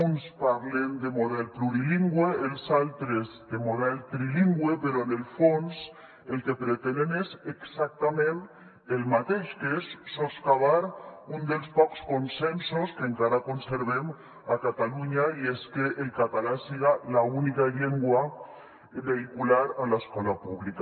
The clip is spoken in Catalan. uns parlen de model plurilingüe els altres de model trilingüe però en el fons el que pretenen és exactament el mateix que és soscavar un dels pocs consensos que encara conservem a catalunya i és que el català siga l’única llengua vehicular a l’escola pública